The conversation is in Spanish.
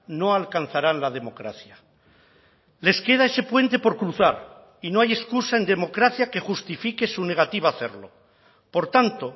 no alcanzarán la democracia les queda ese puente por cruzar y no hay excusa en democracia que justifique su negativa a hacerlo por tanto